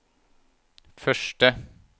første